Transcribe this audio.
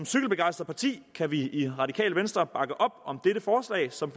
cykelbegejstret parti kan vi i radikale venstre bakke op om dette forslag som